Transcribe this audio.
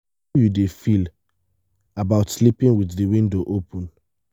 how you dey feel about sleeping with di window open?